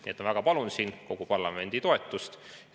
Nii et ma väga palun siin kogu parlamendi toetust.